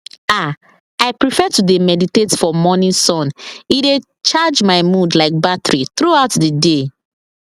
ah i prefer to dey meditate for morning sun e dey charge my mood like battery throughout the day